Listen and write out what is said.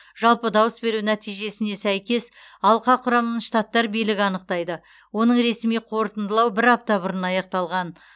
жалпы дауыс беру нәтижесіне сәйкес алқа құрамын штаттар билігі анықтайды оның ресми қорытындылау бір апта бұрын аяқталған